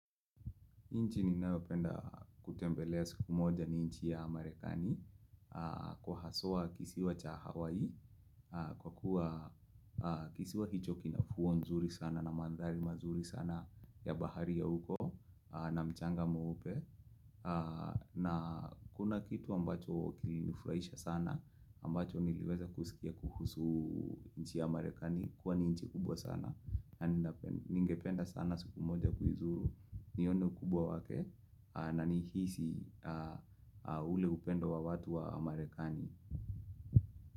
Nchi ninawapenda kutembelea siku moja ni nchi ya marekani kwa haswa kisiwa cha Hawaii kwa kuwa kisiwa hicho kinafuwa nzuri sana na mandhari mazuri sana ya bahari ya uko na mchanga mweupe na kuna kitu ambacho kilinifraisha sana ambacho niliweza kusikia kuhusu nchi ya amarekani kwa ni nchi kubwa sana Ningependa sana siku moja kuizuru nione ukubwa wake na nihisi ule upendo wa watu wa amarekani.